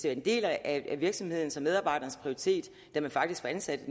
en del af virksomhedens og medarbejderens prioritering da man faktisk var ansat